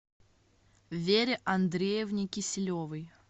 вере андреевне киселевой